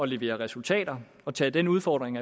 levere resultater og tage den udfordring